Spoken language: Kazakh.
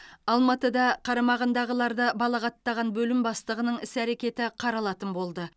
алматыда қарамағындағыларды балағаттаған бөлім бастығының іс әрекеті қаралатын болды